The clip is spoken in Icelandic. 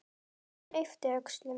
Guðjón yppti öxlum.